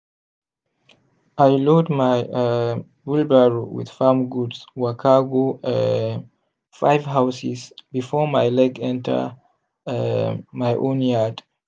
i load my um wheelbarrow with farm goods waka go um five houses before my leg enter um my own yard.